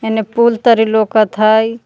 एने पुल तरी लौकत हई।